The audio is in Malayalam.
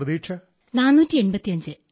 what were your expectation